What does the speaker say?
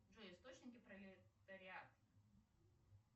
джой источники пролетариат